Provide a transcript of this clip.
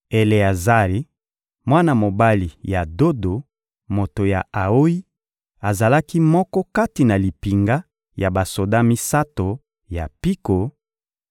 Eleazari, mwana mobali ya Dodo, moto ya Aoyi: azalaki moko kati na limpinga ya basoda misato ya mpiko;